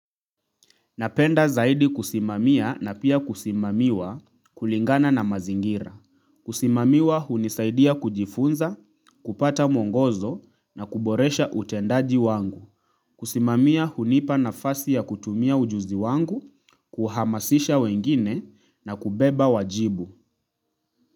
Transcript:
Napenda zaidi kusimamia na pia kusimamiwa kulingana na mazingira. Kusimamiwa hunisaidia kujifunza, kupata mwongozo na kuboresha utendaji wangu. Kusimamia hunipa nafasi ya kutumia ujuzi wangu, kuhamasisha wengine na kubeba wajibu.